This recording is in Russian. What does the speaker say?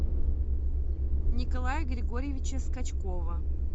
николая григорьевича скачкова